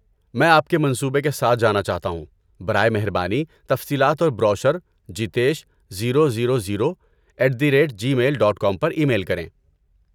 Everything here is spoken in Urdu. میں آپ کے منصوبے کے ساتھ جانا چاہتا ہوں، برائے مہربانی تفصیلات اور brochure Jitesh zero zero zero at the rate gmail dot com پر ای میل کریں